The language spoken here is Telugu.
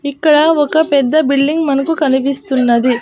ఇక్కడ ఒక పెద్ద బిల్డింగ్ మనకు కనిపిస్తున్నది.